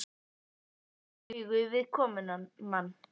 Þau horfast í augu við komumann.